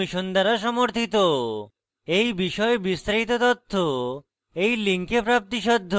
এই বিষয়ে বিস্তারিত তথ্য এই লিঙ্কে প্রাপ্তিসাধ্য